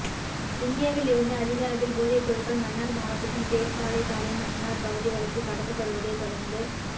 இந்தியாவில் இருந்து அதிக அளவில் போதை பொருட்கள் மன்னார் மாவட்டத்தின் பேசாலை தலைமன்னார் பகுதிகளுக்கு கடத்தப்படுவதை தொடர்ந்து